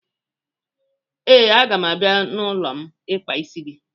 ee, a ga m abia n'ulom ikpa isi gi.